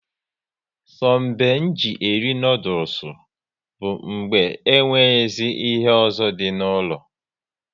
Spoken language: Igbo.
So be nji eri noodules bụ mgbe e nweghịzi ihe ọzọ dị n'ụlọ